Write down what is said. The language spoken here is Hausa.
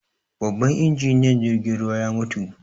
Babban injiniyan jirgin ruwan ya mutu